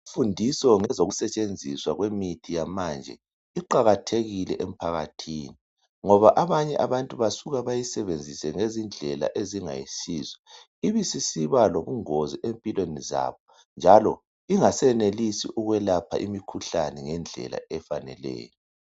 Imfundiso ngezokusetshenziswa kwemithi yamanje iqakathekile emphakathini, ngoba abanye abantu basuka bayisebenzise ngezindlela ezingayisizo, ibe sisiba lobungozi empilweni zabo njalo ingasenelisi ukwelapha imikhuhlane ngendlela efaneleyo.